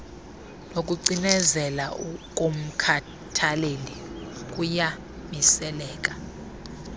nokucinezela komkhathaleli kuyamiseleka